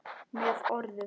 Með orðum.